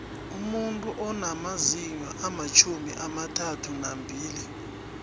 umuntu unamazinyo amatjhumi amathathanambili